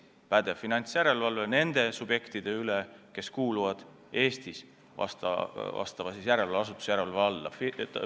On pädev finantsjärelevalve nende subjektide üle, kes kuuluvad Eestis järelevalveasutuse järelevalve alla.